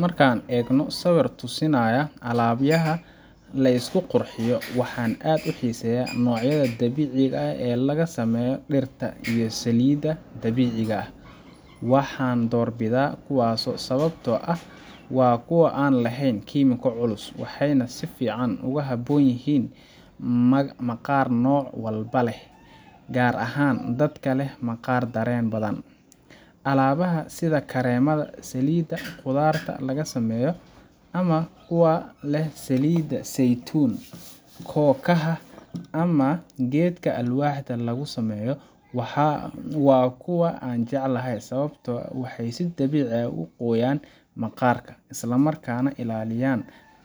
Marka aan eego sawirka tusaya alaabaha la isku qurxiyo, waxaan aad u xiiseeyaa noocyada dabiiciga ah ee laga sameeyo dhirta iyo saliidaha dabiiciga ah. Waxaan doorbidaa kuwaasi sababtoo ah waa kuwo aan lahayn kiimiko culus, waxayna si fiican ugu habboon yihiin maqaar nooc walba leh, gaar ahaan dadka leh maqaar dareen badan. Alaabaha sida kareemada saliidda qudaarta laga sameeyo, ama kuwa leh saliidda saytuunka, kookaha, ama geedka alwaaxda lagu sameeyo, waa kuwa aan jeclahay sababtoo ah waxay si dabiici ah u qoyaan maqaarka, isla markaana ka ilaaliya